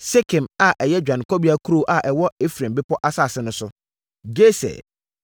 Sekem a ɛyɛ dwanekɔbea kuro a ɛwɔ Efraim bepɔ asase no so, Geser,